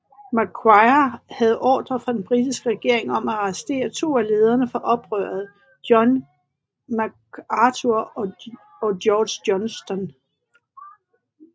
Macquarie havde ordrer fra den britiske regering om at arrestere to af lederne fra oprøret John Macarthur og George Johnston